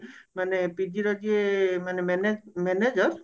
ମାନେ PG ର ଯିଏ ମାନେ manager